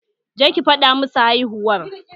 Je ki fada ma su haihuwar!